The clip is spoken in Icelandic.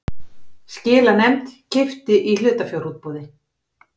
Skilanefnd keypti í hlutafjárútboði